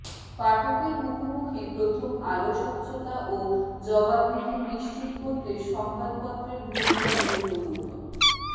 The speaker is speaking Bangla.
পাঠকের মুখোমুখি প্রথম আলো স্বচ্ছতা ও জবাবদিহি নিশ্চিত করতে সংবাদপত্রের ভূমিকা গুরুত্বপূর্ণ